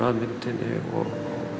og